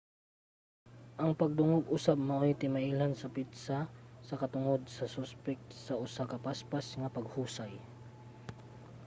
ang pagdungog usab maoy timailhan sa petsa sa katungod sa suspek sa usa ka paspas nga paghusay